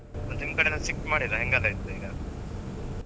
ಮತ್ತ್ ನಿಮ್ ಕಡೆ ಎಲ್ಲ strict ಮಾಡಿದ್ರ ಹೆಂಗ್ ಎಲ್ಲ ಇತ್ತ್ ಈಗ?